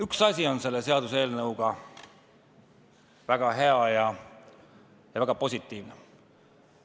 Üks asi on selle seaduseelnõuga väga hea ja väga positiivne.